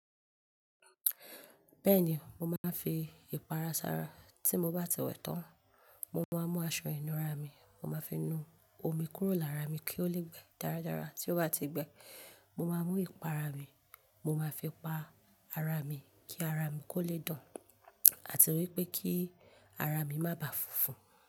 Bẹ́ẹ̀ni, mo máa ń fi ìpara sara. Tí mo bá ti wẹ̀ tán, mo máa mú aṣọ ìnura mi, mo máa fi nu omi kúrò lára mi kí ó le gbẹ darádará. Tí ó bá ti gbẹ, mo máa mú ìpara mi, mo máa fi pa ara mi kí ara mi kó lè dan, àti wípé kí ara mi má ba funfun.